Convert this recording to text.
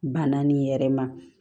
Banna nin yɛrɛ ma